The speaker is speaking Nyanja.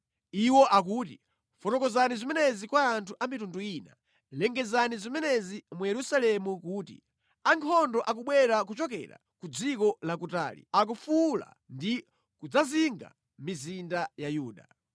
Iwo akuti, “Fotokozani zimenezi kwa anthu a mitundu ina, lengezani zimenezi mu Yerusalemu kuti, ‘Ankhondo akubwera kuchokera ku dziko lakutali, akufuwula ndi kudzazinga mizinda ya Yuda.